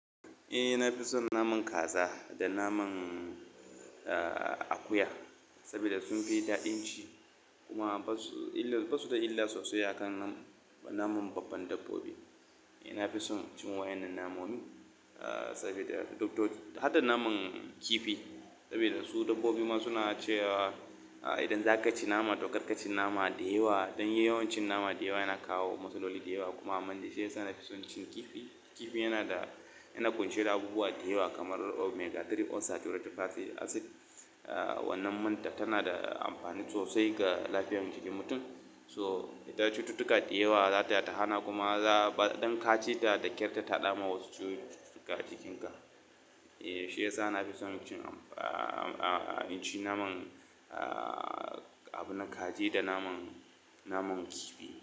Eh na fi son naman kaza da naman akuya saboda sun fi daɗin ci kuma ba su da illa sosai a kan naman babban dabbobi. Eh na fi son cin waɗannan namomin saboda har da naman kifi saboda su dabbobi ma suna cewa idan za ka ci nama to kar ka ci nama da yawa. Dan yawancin nama da yawa yana kawo matsaloli da yawa. Kuma shine yasa na fi son cin kifi. Kifi yana da, yana ƙunshe da abubuwa da yawa kamar Omega-3 unsaturated fatty acid wannan manta tana da amfani sosai ga lafiyar jikin mutum. So ita cututtuka da yawa za ta hana kuma za ba don ka ci ta da ƙyar ta taɗa ma wasu cututtuka jikinka. Eh shi yasa na fi son cin abin kaji da naman, Da naman kifi.